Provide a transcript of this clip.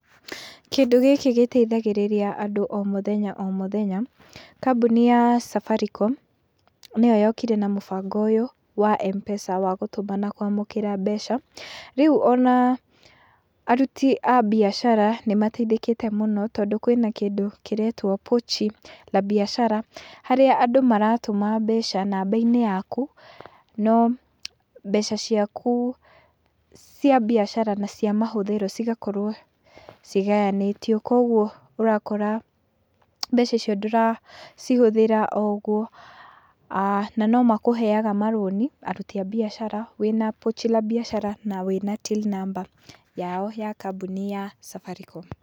Kĩndũ gĩkĩ gĩteithagĩrĩria andũ o mũthenya o mũthenya, kambũni ya Safaricom nĩyo yokire na mũbango ũyũ wa Mpesa wa gũtũma na kwamũkĩra mbeca , rĩu ona aruti a biacara nĩ mateithĩkĩte mũno, tondũ kwĩna kĩndũ kĩretwo pochi la biashara harĩa andũ maratũma mbeca namba-inĩ yaku , no mbeca ciaku cia biacara na cia mahũthĩro cigakorwo cigayanĩtio , kũgwo ũrakora mbeca icio ndũracihũthĩra o ũgwo, a na no makũheaga marũni aruti a biacara wĩna pochi la biashara na wĩna Till number yao ya kambũni ya Safaricom.